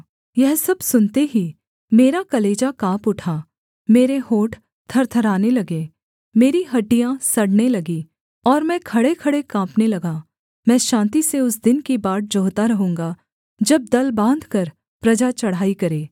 यह सब सुनते ही मेरा कलेजा काँप उठा मेरे होंठ थरथराने लगे मेरी हड्डियाँ सड़ने लगीं और मैं खड़ेखड़े काँपने लगा मैं शान्ति से उस दिन की बाट जोहता रहूँगा जब दल बाँधकर प्रजा चढ़ाई करे